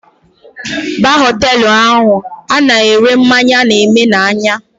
Baa Họtelụ ahụ ana ere mmanya na eme na anya?